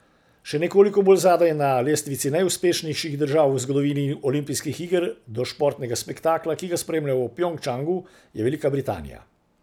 Še nekoliko bolj zadaj na lestvici najuspešnejših držav v zgodovini olimpijskih iger do športnega spektakla, ki ga spremljamo v Pjongčangu, je Velika Britanija.